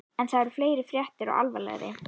En það eru meiri fréttir og alvarlegri.